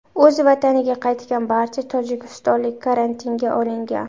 O‘z vataniga qaytgan barcha tojikistonlik karantinga olingan.